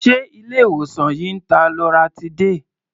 Ṣé ilé-ìwòsàn yìí ń ta loratiday?